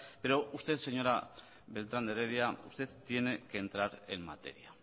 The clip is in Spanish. pero usted señora beltrán de heredia usted tiene que entrar en materia